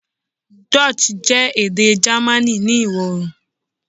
Dutch jẹ ede Germani iwọ-oorun